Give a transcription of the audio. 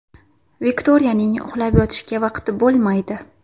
Viktoriyaning uxlab yotishga vaqti bo‘lmaydi.